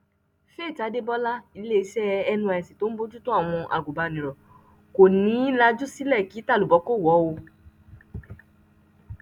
faith adébọ́lá iléeṣẹ nysc tó ń bójútó àwọn agùnbánirọ̀ kò ní í lajú sílẹ kí tàlùbọ̀ kó wọ̀ ọ́ o